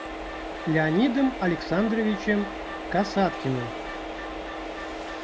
леонидом александровичем касаткиным